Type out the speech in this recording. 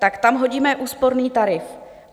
Tak tam hodíme úsporný tarif.